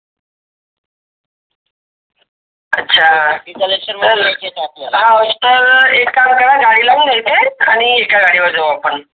अच्छा तर एक काम करा गाडी लाऊन येते आणि एका गाडी वर जाऊ आपण.